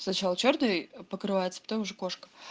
сначала чёрный покрывается потом уже кошка